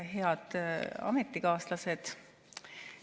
Head ametikaaslased!